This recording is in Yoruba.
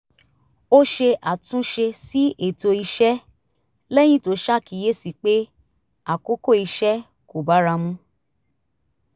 ó ṣe àtúnṣe sí ètò iṣẹ́ lẹ́yìn tó ṣàkíyèsí pé àkókò iṣẹ́ kò bára mu